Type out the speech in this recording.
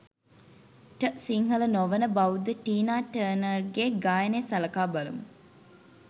ට සිංහල නොවන බෞද්ධ ටීනා ටර්නර්ගෙ ගායනය සලකා බලමු.